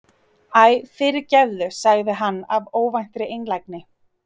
Æ, fyrirgefðu- sagði hann af óvæntri einlægni.